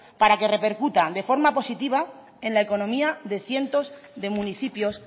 para que repercuta de forma positiva en la economía de cientos de municipios